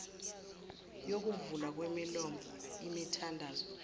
yokuvulwa kwemilomo imithandazo